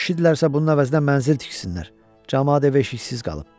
Kişidirlərsə, bunun əvəzinə mənzil tiksinlər, camaat ev-eşiksiz qalıb.